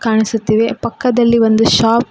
ಕಾಣಿಸುತ್ತಿದೆ ಪಕ್ಕದಲ್ಲಿ ಒಂದು ಶಾಪ್ --